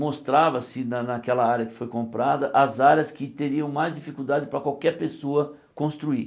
Mostrava-se na naquela área que foi comprada as áreas que teriam mais dificuldade para qualquer pessoa construir.